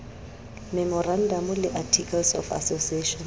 memorandamo le articles of association